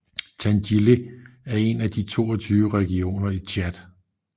Tandjilé er en af de 22 regioner i Tchad